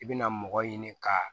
I bɛna mɔgɔ ɲini ka